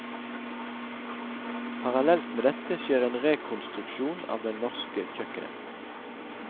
Parallelt med dette skjer en rekonstruksjon av den norske kjøkkenet.